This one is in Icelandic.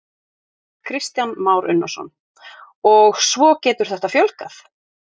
Kristján Már Unnarsson: Og svo getur þetta fjölgað?